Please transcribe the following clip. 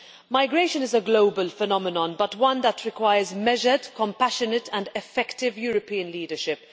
Migration is a global phenomenon but one that requires measured, compassionate and effective European leadership.